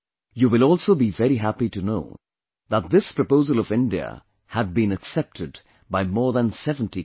You will also be very happy to know that this proposal of India had been accepted by more than 70 countries